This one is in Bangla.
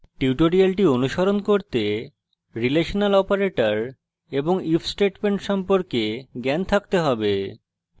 tutorial অনুসরণ করতে রিলেশনাল operators এবং if statement সম্পর্কে জ্ঞান থাকতে have